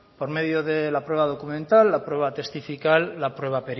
por medio de la prueba documental la prueba testifical la prueba